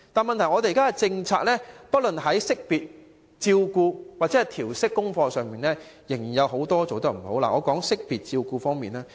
問題是現時的政策不論在識別、照顧或調適功課方面，仍然做得不大好。